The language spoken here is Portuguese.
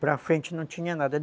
Para frente não tinha nada.